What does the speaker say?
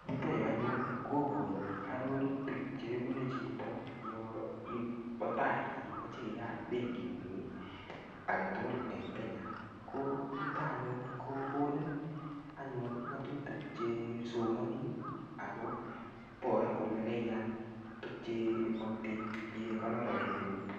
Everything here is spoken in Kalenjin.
Yuto yu anyun koboru arorutik chebune chitobo tai yo imoche iyat benkingung agetugul en Kenya. Ko yuto anyun ko konin anyun ngatutik che somani ago bor kole kaiyan tukche imoktoi inyekonor rapinikuk.